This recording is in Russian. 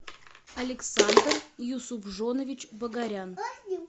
александр юсупжонович багарян